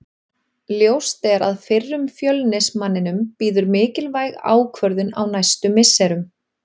Ljóst er að fyrrum Fjölnismanninum bíður mikilvæg ákvörðun á næstu misserum.